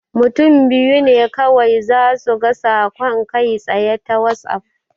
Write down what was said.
Mutum biyu ne kawai zasu ga saƙon kai-tsaye a Wazaf.